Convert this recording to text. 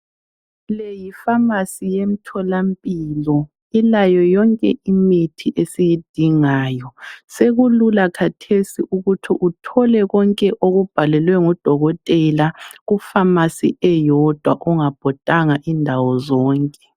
Le yiFamasi yemtholampilo ilayo yonke imithi esiyidingayo sekulula kathesi ukuthi uthole konke okubhalelwe ngudokotela kuFamasi eyodwa kungabhodanga indawo zonke.